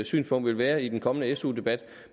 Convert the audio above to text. synspunkt vil være i den kommende su debat